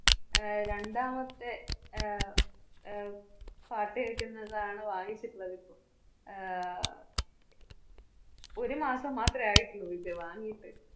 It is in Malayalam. അഹ് രണ്ടാമത്തെ അഹ് അഹ് പാട്ട് കേക്കുക്കുന്നതാണ് വാങ്ങിച്ചിട്ടുള്ളത് ഇപ്പോ. ആഹ് ഒരു മാസം മാത്രേ ആയിട്ടുള്ളൂ ഇത് വാങ്ങീട്ട്.